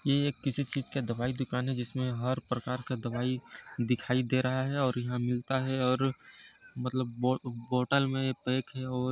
ये किसी चीज का दवाई का दुकान है जिसमें हर प्रकार का दवाई दिखाई दे रहा है और यहाँ मिलता है और मतलब बो--बोटल में पैक हैं और--